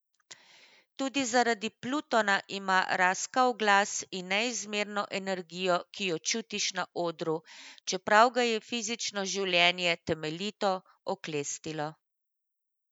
Tudi zaradi Plutona ima raskav glas in neizmerno energijo, ki jo čutiš na odru, čeprav ga je fizično življenje temeljito oklestilo.